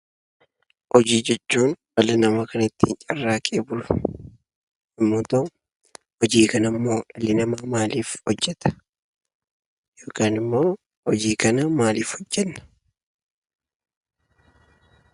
Hojii jechuun dhalli namaa kan ittiin carraaqee bulu yoo ta'u, hojii kanammoo dhalli namaa maaliif hojjata? yookaan immoo hojii kana maaliif hojjanna?